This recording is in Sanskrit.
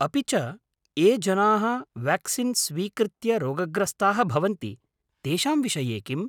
अपि च, ये जनाः वेक्सीन् स्वीकृत्य रोगग्रस्ताः भवन्ति तेषां विषये किम्?